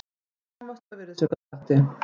Komast hjá virðisaukaskatti